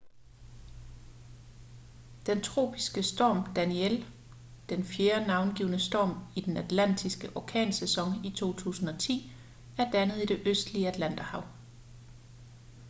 den tropiske storm danielle den fjerde navngivne storm i den atlantiske orkansæson i 2010 er dannet i det østlige atlanterhav